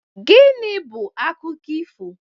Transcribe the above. Gịnị bụ akụkọ ifo?